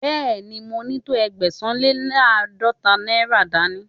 Bẹ́ẹ̀ni, mo ní tó Ẹgbẹ̀sán-le-láàdọ́ta náírà dání.